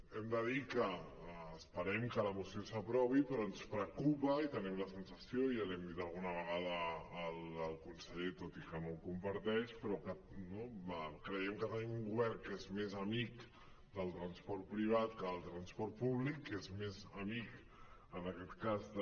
hem de dir que esperem que la moció s’aprovi però ens preocupa i tenim la sensació ja l’hi hem dit alguna vegada al conseller tot i que no ho comparteix però que no creiem que tenim un govern que és més amic del transport privat que del transport públic que és més amic en aquest cas de